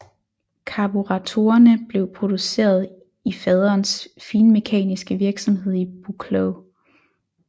Karburatorerne blev produceret i faderens finmekaniske virksomhed i Buchloe